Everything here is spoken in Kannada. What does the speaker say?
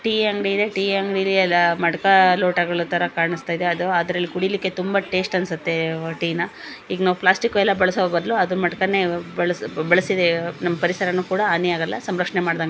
ಟೀ ಅಂಗಡಿ ಇದೆ ಟೀ ಅಂಗಡಿ ಅಲ್ಲಿ ಮಡಕ ಲೋಟಗಳು ತರ ಇದೆ ಕಾಣಿಸ್ತಾ ಇದೆ. ಅದರಲ್ಲಿ ಕುಡಿಯಕ್ಕೆ ತುಂಬಾ ಟೇಸ್ಟಿ ಅನ್ನಸುತ್ತೆ ಟೀ ನಾ. ಈಗ ನಾವ ಇತರ ಪ್ಲಾಸ್ಟಿಕ್ ಬಳಸುವ ಬದಲು ಮಡಕ ಬಳಸ ಬಳಸಬಹುದು. ಅದರಿಂದ ಪರಿಸರವ ಸಹ ಹಾನಿಯಾಗಲ್ಲ ಪರಿಸರ ಸಂರಕ್ಷಣೆ ಮಾಡಿದಂಗಾಗುತ್ತೆ.